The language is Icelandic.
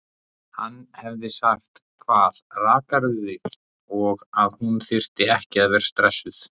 Hann hefði sagt: Hvað, rakarðu þig? og að hún þyrfti ekki að vera stressuð.